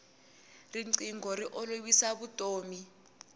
rinqingho ri olovisa vutomi